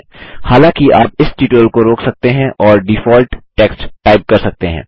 हालाँकि आप इस ट्यूटोरियल को रोक सकते हैं और डिफॉल्ट टेक्स्ट टाइप कर सकते हैं